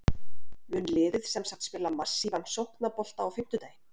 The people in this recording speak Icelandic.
Mun liðið semsagt spila massívan sóknarbolta á fimmtudaginn?